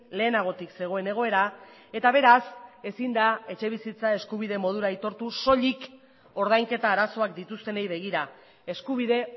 lehenagotik zegoen egoera eta beraz ezin da etxebizitza eskubide modura aitortu soilik ordainketa arazoak dituztenei begira eskubide